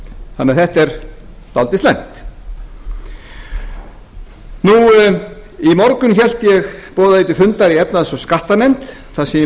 þannig að þetta er dálítið slæmt í morgun boðaði ég til fundar í efnahags og skattanefnd þar sem ég